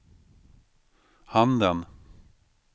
handen